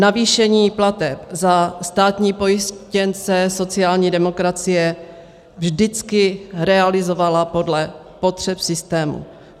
Navýšení plateb za státní pojištěnce sociální demokracie vždycky realizovala podle potřeb systému.